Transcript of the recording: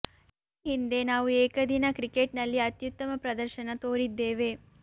ಈ ಹಿಂದೆ ನಾವು ಏಕದಿನ ಕ್ರಿಕೆಟ್ ನಲ್ಲಿ ಅತ್ಯುತ್ತಮ ಪ್ರದರ್ಶನ ತೋರಿದ್ದೇವೆ